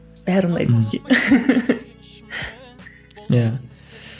бәрі ұнайды де иә